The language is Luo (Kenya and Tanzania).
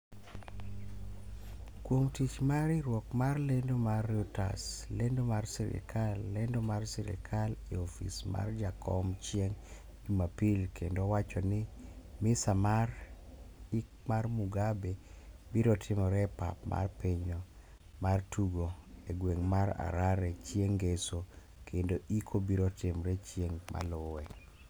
kuom tich mar riwruok mar lendo mar Reuters lendo mar sirikal lendo mar sirikal e ofis mar jakom chieng jumapil kendo owacho ni misa mar ik mar Mugabe biro timre e pap mar pinyno mar tugo e gweng' mar Harare cheing' ngeso kendo ik biro timre chieng' maluwe